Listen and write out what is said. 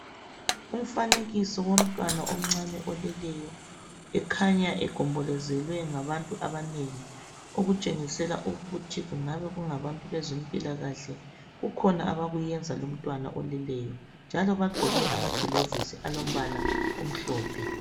Umfanekiso womtwana omncane oleleyo ekhanya egombolozelwe ngabantu abanengi okutshengisela ukuthi kungabe kungabantu abezempilakahle kukhona abakuyenza lomtwana oleleyo njalo bagqoke amagilovisi alombala omhlophe